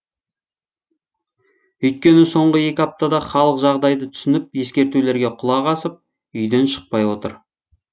өйткені соңғы екі аптада халық жағдайды түсініп ескертулерге құлақ асып үйден шықпай отыр